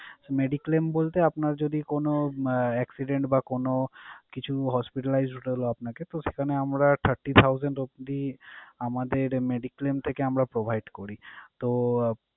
Mediclaim বলতে আপনার যদি কোন আহ accident বা কোন কিছু hospitalized হতে হলো আপনাকে, তো সেখানে আমরা thirty thousand অবধি আমাদের mediclaim টাকে আমরা provide করি। তো,